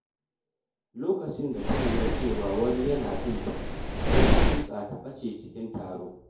Lokacin da ta lura cewa wani yana binta, sai ta kutsa ta ɓace cikin taro.